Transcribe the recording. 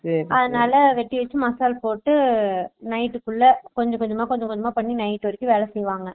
அதுனால வேட்டி வெச்சு மசால் போட்டு night full லா கொஞ்ச கொஞ்சமா கொஞ்ச கொஞ்சமா night full ல வேல பாப்பாங்க